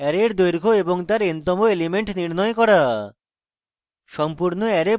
array এর দৈর্ঘ্য এবং তার n to এলিমেন্ট নির্ণয় করা